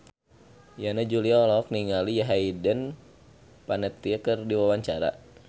Yana Julio olohok ningali Hayden Panettiere keur diwawancara